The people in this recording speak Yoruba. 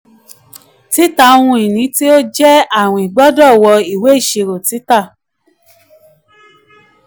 tita ohun-ini tó jẹ́ tó jẹ́ àwìn gbọdọ wọ ìwé iṣirò tita.